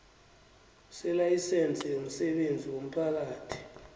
selayisense yomsebenzi womphakathi